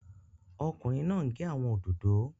Ọkùnrin náà n gé àwọn òdòdó